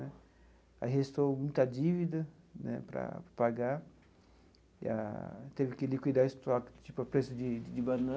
Aí restou muita dívida né para pagar, e a teve que liquidar o estoque, tipo a preço de de